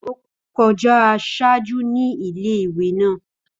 Ó kọjá ṣáájú ní ilé ìwé naa